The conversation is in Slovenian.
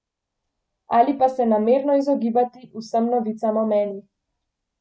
Ali pa se namerno izogibati vsem novicam o meni.